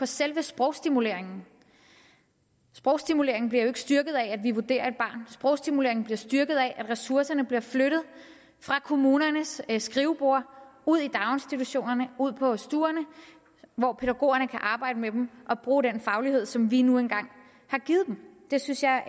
selve sprogstimuleringen sprogstimuleringen bliver jo ikke styrket af at vi vurderer et barn sprogstimuleringen bliver styrket af at ressourcerne bliver flyttet fra kommunernes skriveborde ud i daginstitutionerne ud på stuerne hvor pædagogerne kan arbejde med dem og bruge den faglighed som vi nu engang har givet dem det synes jeg